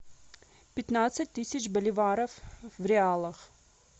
пятнадцать тысяч боливаров в реалах